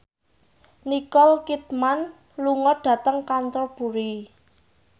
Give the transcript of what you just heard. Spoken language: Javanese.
Nicole Kidman lunga dhateng Canterbury